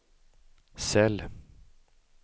cell